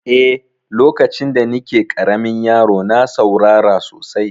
Eh, lokacin da ni ke ƙaramin yaro na saurara sosai